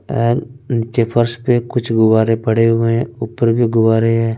N इनके फर्श पे कुछ गुब्बारे पड़े हुए हैं ऊपर भी गुब्बारे हैं।